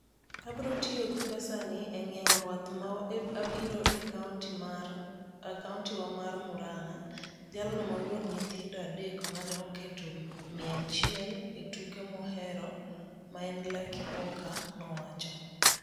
"Abiro tiyo gi pesani e ng'iewo rwath ma abiro e county wa mar Murang'a," jalno ma wuon nyithindo adek mane oketo mia achiel e tuke mohero ma en Lucky Poker nowacho.